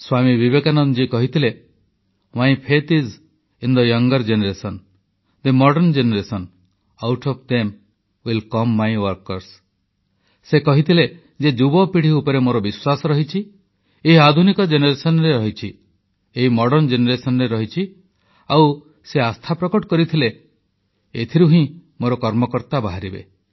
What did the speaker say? ସ୍ୱାମୀ ବିବେକାନନ୍ଦ କହିଥିଲେ ଯେ ଯୁବପିଢ଼ି ଆଧୁନିକ ପିଢ଼ି ଉପରେ ମୋର ବିଶ୍ୱାସ ରହିଛି ଏମାନଙ୍କ ମଧ୍ୟରୁ ହିଁ ମୋର କାର୍ଯ୍ୟକର୍ତ୍ତା ବାହାରିବେ